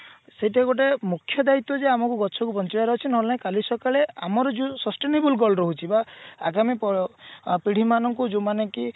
ସେଟା ଗୋଟେ ମୁଖ୍ୟ ଦାଇତ୍ଵ ଯେ ଆମକୁ ଗଛ କୁ ବଞ୍ଚେଇବାର ଅଛି ନହେଲେ ନାଇଁ କାଲି ସକାଳେ ଆମର ଯୋଉ sustainable girl ରହୁଛି ବା ଆଗାମୀ ପ ପିଢୀ ମାନଙ୍କୁ ଯୋଉ ମାନେ କି